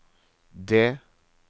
det